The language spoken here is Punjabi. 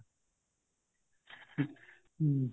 ਹਮ